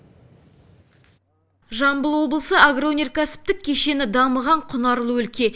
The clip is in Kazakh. жамбыл облысы агроөнеркәсіптік кешені дамыған құнарлы өлке